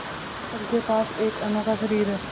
हम सब के पास एक अनोखा शरीर है